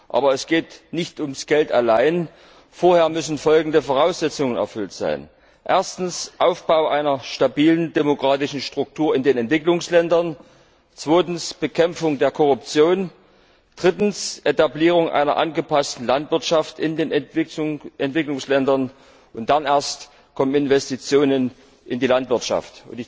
Aber es geht nicht um das Geld allein, vorher müssen folgende Voraussetzungen erfüllt sein erstens Aufbau einer stabilen demokratischen Struktur in den Entwicklungsländern, zweitens Bekämpfung der Korruption, drittens Etablierung einer angepassten Landwirtschaft in den Entwicklungsländern, und dann erst kommen Investitionen in die Landwirtschaft.